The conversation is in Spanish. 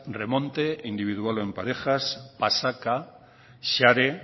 remonte individual o en parejas pasaka xare